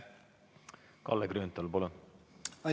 Kalle Grünthal, palun!